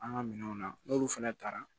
An ka minɛnw na n'olu fana taara